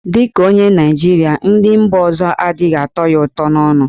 Dị ka onye Naịjirịa, nri mba ọzọ adịghị atọ ya ụtọ n'ọnụ.